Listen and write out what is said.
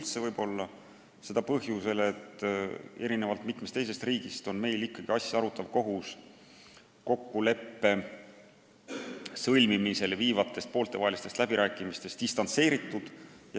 Seda võib-olla põhjusel, et erinevalt mitmest teisest riigist on meil asja arutav kohus kokkuleppe sõlmimiseni viivatest pooltevahelistest läbirääkimistest distantseeritud.